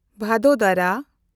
ᱵᱷᱟᱫᱳᱫᱚᱨᱟ